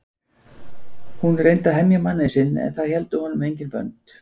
Hún reyndi að hemja manninn sinn en það héldu honum engin bönd.